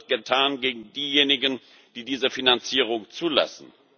Was wird getan gegen diejenigen, die diese Finanzierung zulassen?